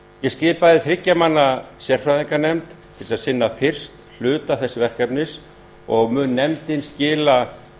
ég skipaði þriggja manna sérfræðinganefnd til að sinna fyrsta hluta þessa verkefnis og mun nefndin skila